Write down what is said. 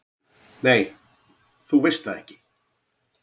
"""Nei, þú veist það ekki."""